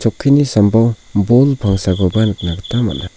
chokkini sambao bol pangsakoba nikna gita man·a.